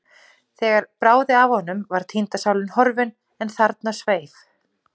Þegar bráði af honum var týnda sálin horfin, en þarna sveif